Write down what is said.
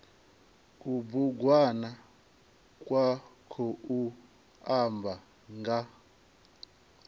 kubugwana kwa khou amba nga